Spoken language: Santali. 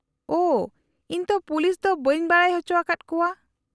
-ᱳᱷᱚ, ᱤᱧ ᱛᱚ ᱯᱩᱞᱤᱥ ᱫᱚ ᱵᱟᱹᱧ ᱵᱟᱰᱟᱭ ᱚᱪᱚ ᱟᱠᱟᱫ ᱠᱚᱣᱟ ᱾